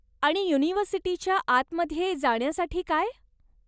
आणि युनिव्हर्सिटीच्या आतमध्ये जाण्यासाठी काय?